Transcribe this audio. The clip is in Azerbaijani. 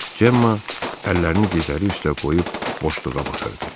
Cemma əllərini dizləri üstə qoyub boşluğa baxırdı.